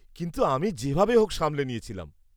-কিন্তু আমি যেভাবে হোক সামলে নিয়েছিলাম।